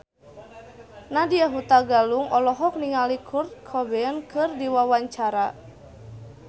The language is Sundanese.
Nadya Hutagalung olohok ningali Kurt Cobain keur diwawancara